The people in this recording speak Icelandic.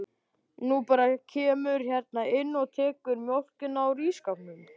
Þú bara kemur hérna inn og tekur mjólkina úr ísskápnum.